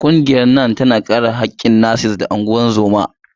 Ƙungiyar NANNM tana kare haƙƙin nas-nas da ungozoma.